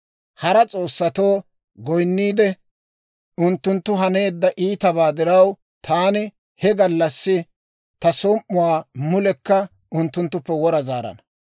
Hara s'oossatoo goyinniide, unttunttu haneedda iitabaa diraw, taani he gallassi ta som"uwaa mulekka unttunttuppe wora zaarana.